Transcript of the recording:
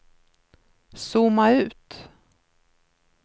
zooma ut